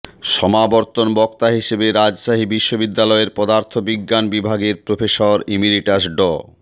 সমাবর্তন বক্তা হিসেবে রাজশাহী বিশ্ববিদ্যালয়ের পদার্থ বিজ্ঞান বিভাগের প্রফেসর ইমেরিটাস ড